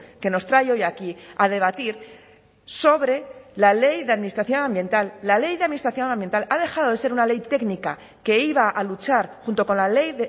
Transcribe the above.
que nos trae hoy aquí a debatir sobre la ley de administración ambiental la ley de administración ambiental ha dejado de ser una ley técnica que iba a luchar junto con la ley